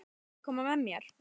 Viljiði koma með mér?